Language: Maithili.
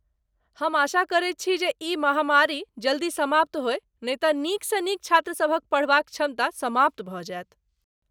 हम आशा करैत छी जे ई महामारी जल्दी समाप्त होय नहि तँ नीकसँ नीक छात्रसभक पढ़बाक क्षमता समाप्त भऽ जायत।